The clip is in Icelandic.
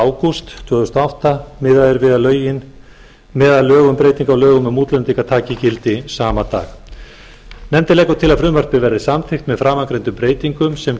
ágúst tvö þúsund og átta miðað er við að lög um breytingu á lögum um útlendinga taki gildi sama dag nefndin leggur til að frumvarpið verði samþykkt með framangreindum breytingum sem gerð